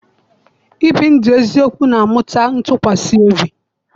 Ibi ndụ eziokwu na-amụta ntụkwasị obi.